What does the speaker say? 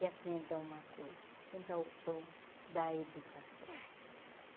E aprenda uma coisa, quem dá o pão dá a educação.